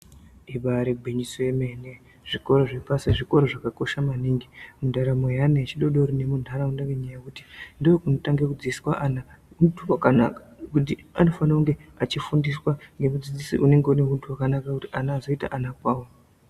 Ibari gwinyiso yemene, zvikoro zvepasi zvikoro zvakakosha maningi mundaramo yeana echidori dori nemuntaraunda ngenyaya yekuti ndokunotange kudzidziswa ana huntu hwakanaka kuti anofana kunge achifundiswa ngemudzidzisi unenge une huntu hwakanaka kuti ana azoita ana kwavo.